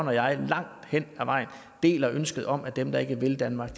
og jeg langt hen ad vejen deler ønsket om at dem der ikke vil danmark